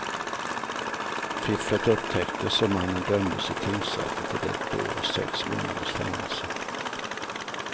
Fifflet upptäcktes och mannen dömdes i tingsrätten till ett år och sex månaders fängelse.